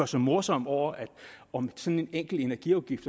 sig morsom over om sådan en enkelt energiafgift